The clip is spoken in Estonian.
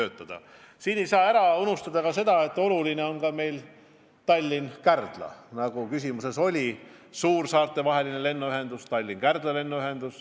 Samas ei tohi ära unustada, et oluline ühendus on ka Tallinna ja Kärdla vahel, nagu ka küsimuses oli.